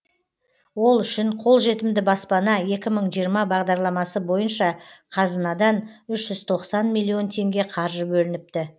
ол үшін қолжетімді баспана екі мың жиырма бағдарламасы бойынша қазынадан үш жүз тоқсан миллион теңге қаржы бөлініпті